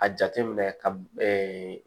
A jate minɛ ka